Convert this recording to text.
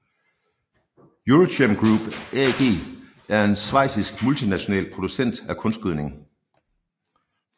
EuroChem Group AG er en schweizisk multinational producent af kunstgødning